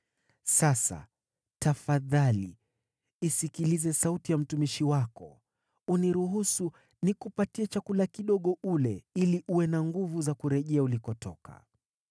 Sasa tafadhali isikilize sauti ya mtumishi wako, uniruhusu nikupatie chakula kidogo ule ili uwe na nguvu za kurejea ulikotoka.”